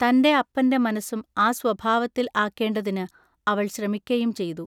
തന്റെ അപ്പന്റെ മനസ്സും ആ സ്വഭാവത്തിൽ ആക്കേണ്ടതിനു അവൾ ശ്രമിക്കയും ചെയ്തു.